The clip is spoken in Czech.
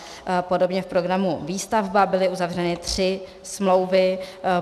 Podobně v programu Výstavba byly uzavřeny tři smlouvy.